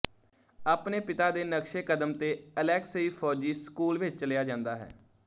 ਆਪਣੇ ਪਿਤਾ ਦੇ ਨਕਸ਼ੇਕਦਮ ਤੇ ਅਲੇਕਸਈ ਫੌਜੀ ਸਕੂਲ ਵਿੱਚ ਚਲਿਆ ਜਾਂਦਾ ਹੈ